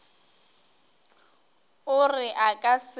o re a ka se